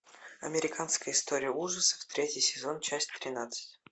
американская история ужасов третий сезон часть тринадцать